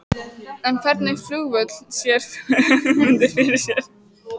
En hvernig flugvöll sér Ögmundur fyrir sér?